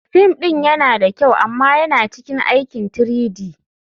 Fim ɗin yana da kyau amma yana cikin aikin 3-D.